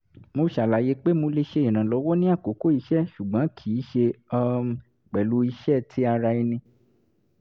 mo ṣàlàyé pé mo lè ṣe ìrànlọ́wọ́ ní àkókò iṣẹ́ ṣùgbọ́n kì í ṣe um pẹ̀lú iṣẹ́ ti ara ẹni